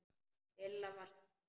Lilla var sár.